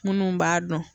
Minnu b'a dɔn